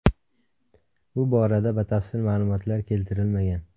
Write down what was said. Bu borada batafsil ma’lumotlar keltirilmagan.